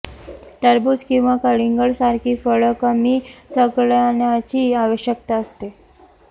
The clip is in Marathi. टरबूज किंवा कलिंगड सारखी फळं कमी चघळण्याची आवश्यकता असते